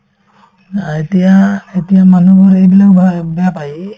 অ, এতিয়া এতিয়াৰ মানুহবোৰে এইবিলাক ভা এই বেয়া পাই এই